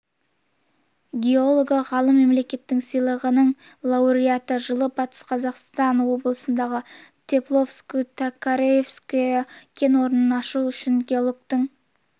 геологы ғалым мемлекеттік сыйлығының лауреаты жылы батыс қазақстан облысындағы тепловско-токаревское кен орнын ашу үшін геологтың